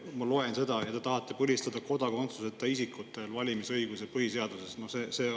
Ma loen, et te tahate kodakondsuseta isikute valimisõiguse põlistada põhiseaduses.